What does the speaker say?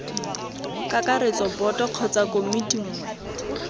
kakaretso boto kgotsa komiti nngwe